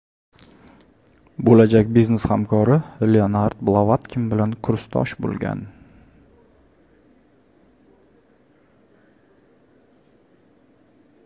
Bo‘lajak biznes hamkori Leonard Blavatnik bilan kursdosh bo‘lgan.